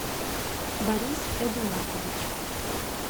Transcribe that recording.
борис эдуардович